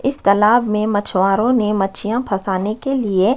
इस तालाब में मछवारों ने मछलियाँ फसाने के लिए--